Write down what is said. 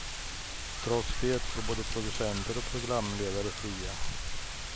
Trots det går både producenter och programledare fria.